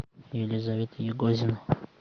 елизавета егозина